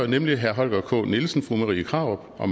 nemlig herre holger k nielsen fru marie krarup og